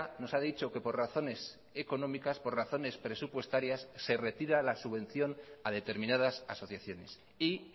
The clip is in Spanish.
nos ha dicho que por razones económicas por razones presupuestarias se retira la subvención a determinadas asociaciones y